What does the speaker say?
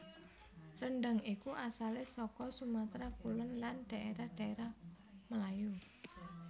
Rendhang iku asalé saka Sumatra Kulon lan daérah daérah Melayu